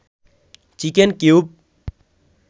chicken cube